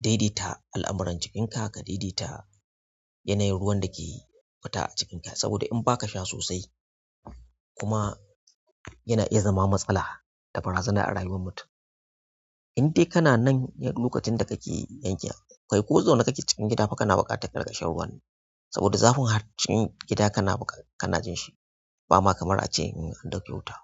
daidai ta al'amuran jikinka, ka daida ta yanayin ruwan da ke fita a jikinka. Saboda in ba ka sha sosai kuma yana iya zama matsala da barazana a rayuwar mutum. Indai kana nan lokacin da kake yankin, kai ko zauna kake cikin gida ba kana buƙatar ka rinƙa shan ruwan nan. Saboda zafin har cin gida kana buƙa, kana jin shi. Ba ma kamar a ce in an ɗauke wuta.